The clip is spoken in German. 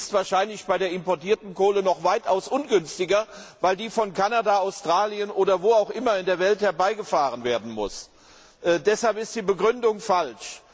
Sie ist wahrscheinlich bei der importierten Kohle noch weitaus ungünstiger, weil diese Kohle aus Kanada, Australien oder anderen Regionen in der Welt herbeigeschafft werden muss. Deshalb ist die Begründung falsch.